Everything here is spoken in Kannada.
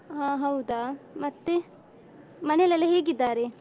ಹ ಹೌದಾ, ಮತ್ತೆ ಮನೆಯಲ್ಲೆಲ್ಲ ಹೇಗಿದ್ದಾರೆ?